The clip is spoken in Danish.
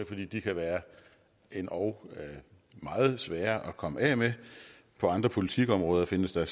fordi de kan være endog meget svære at komme af med på andre politikområder findes der